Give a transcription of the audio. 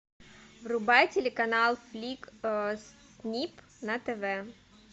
врубай телеканал флик снип на тв